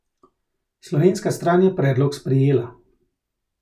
Slovenska stran je predlog sprejela.